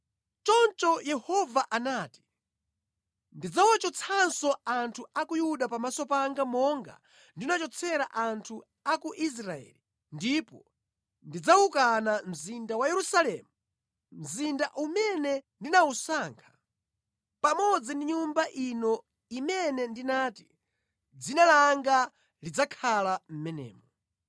Choncho Yehova anati, “Ndidzawachotsanso anthu a ku Yuda pamaso panga monga ndinachotsera anthu a ku Israeli ndipo ndidzawukana mzinda wa Yerusalemu, mzinda umene ndinawusankha, pamodzi ndi Nyumba ino imene ndinati, ‘Dzina langa lidzakhala mʼmenemo.’ ”